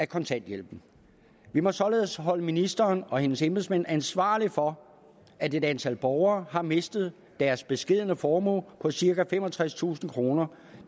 kontanthjælpen vi må således holde ministeren og hendes embedsmænd ansvarlige for at et antal borgere har mistet deres beskedne formue på cirka femogtredstusind kroner